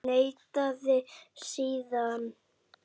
Neitaði síðan.